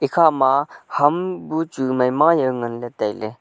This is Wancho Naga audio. ekhama ham bu chu maima yaw nganley tailey.